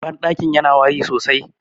bandakin yana wari sosai